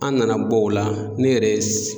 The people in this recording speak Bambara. An nana bɔ o la ne ye yɛrɛ